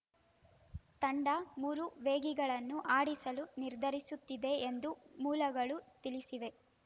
ತಂಡ ಮೂರು ವೇಗಿಗಳನ್ನು ಆಡಿಸಲು ನಿರ್ಧರಿಸುತ್ತಿದೆ ಎಂದು ಮೂಲಗಳು ತಿಳಿಸಿವೆ